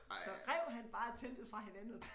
Så rev han bare teltet fra hinanden og